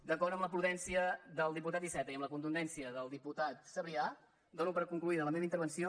d’acord amb la prudència del diputat iceta i amb la contundència del diputat sabrià dono per conclosa la meva intervenció